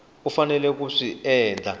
u faneleke ku swi endla